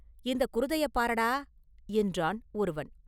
இந்தக் குருதையைப் பாரடா!” என்றான் ஒருவன்.